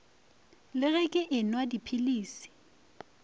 le ge ke enwa dipilisi